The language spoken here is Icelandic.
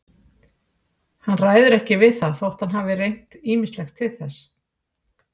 Hann ræður ekki við það þótt hann hafi reynt ýmislegt til þess.